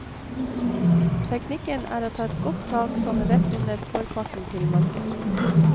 Teknikken er å ta et godt tak sånn rett under forparten til marken.